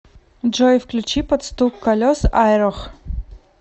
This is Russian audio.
джой включи под стук колес айрох